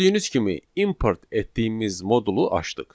Gördüyünüz kimi import etdiyimiz modulu açdıq.